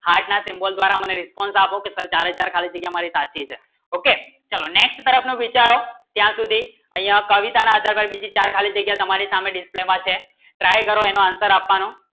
heart ના symbol દ્વારા મને response આપો કી ખાલી જગ્ય મારી સાચી છે okay next તરફ ને વિચારો ક્યાંસુધી ય કવિતા ને આધારે ચાર ખાલી જગ્ય તમારે સામને display માં છે try કરો એનો answer આપવાનો